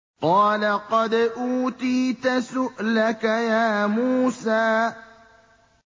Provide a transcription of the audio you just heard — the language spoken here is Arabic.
قَالَ قَدْ أُوتِيتَ سُؤْلَكَ يَا مُوسَىٰ